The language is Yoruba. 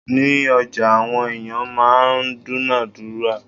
Ní ọjà, àwọn ẹ̀yàn máa ń dúǹádúrà.